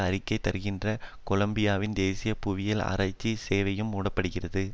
அறிக்கை தருகின்ற கொலம்பியாவின் தேசிய புவியியல் ஆராச்சி சேவையும் மூடப்படுகிறது